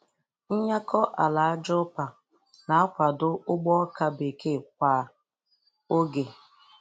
Nyakọ ala aja ụpa na-akwado ugbo ọka bekee kwa oge.